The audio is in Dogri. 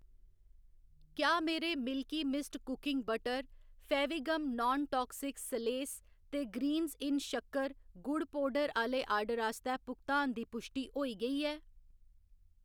क्या मेरे Milky Mist cooking butter, Fevigum non toxic सलेस ते ग्रीन्ज इन शक्कर, गुड़ पौडर आह्‌‌‌ले आर्डर आस्तै भुगतान दी पुश्टि होई गेई ऐ ?